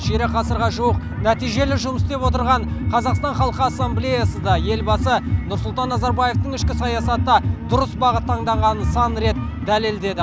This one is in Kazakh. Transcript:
ширек ғасырға жуық нәтижелі жұмыс істеп отырған қазақстан халық ассамблеясыда елбасы нұрсұлтан назарбаевтың ішкі саясаты дұрыс бағыт таңдағанын сан рет дәлелдеді